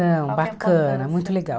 Não, bacana, muito legal.